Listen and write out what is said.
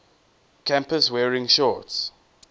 campus wearing shorts